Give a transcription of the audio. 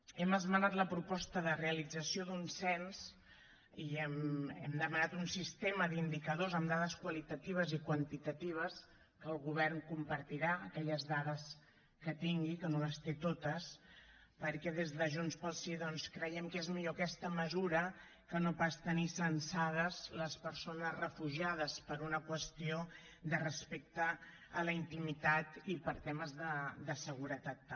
hem esmenat la proposta de realització d’un cens i hem demanat un sistema d’indicadors amb dades qualitatives i quantitatives que el govern compartirà aquelles dades que tingui que no les té totes perquè des de junts pel sí doncs creiem que és millor aquesta mesura que no pas tenir censades les persones refugiades per una qüestió de respecte a la intimitat i per temes de seguretat també